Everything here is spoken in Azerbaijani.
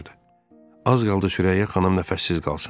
Az qaldı Sürəyyə xanım nəfəssiz qalsın.